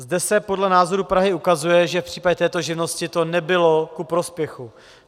Zde se podle názoru Prahy ukazuje, že v případě této živnosti to nebylo ku prospěchu.